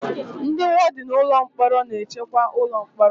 Ndị wọdịn ụlọ mkpọrọ na-echekwa ụlọ mkpọrọ